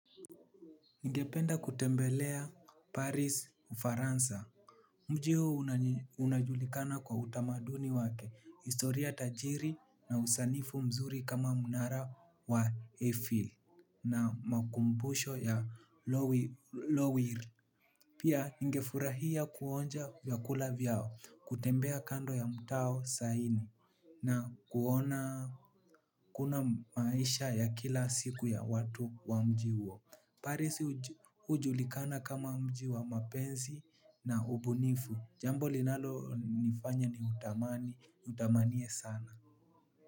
Ningependa kutembelea Paris Ufaransa, Mji huu unajulikana kwa utamaduni wake. Historia tajiri na usanifu mzuri kama mnara wa Eiffel Na makumbusho ya Lowire, Pia ningefurahia kuonja vyakula vyao. Kutembea kando ya mtao saini na kuona kuna maisha ya kila siku ya watu wa mji huo Paris ujulikana kama mji wa mapenzi na ubunifu. Jambo linalo nifanya ni utamani, utamaniye sana.